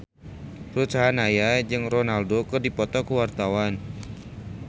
Ruth Sahanaya jeung Ronaldo keur dipoto ku wartawan